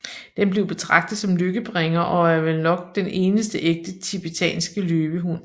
Den blev betragtet som lykkebringer og er vel nok den eneste ægte TIBETANSKE LØVEHUND